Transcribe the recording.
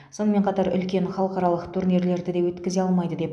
сонымен қатар үлкен халықаралық турнирлерді де өткізе алмайды деп